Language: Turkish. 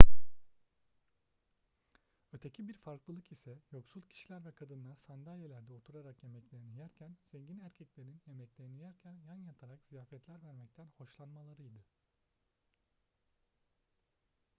öteki bir farklılık ise yoksul kişiler ve kadınlar sandalyelerde oturarak yemeklerini yerken zengin erkeklerin yemeklerini yerken yan yatarak ziyafetler vermekten hoşlanmalarıydı